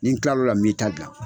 Ni kila lo la min ta dilan.